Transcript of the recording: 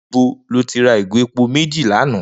Nibó ló ti rà igó épó méji lànã?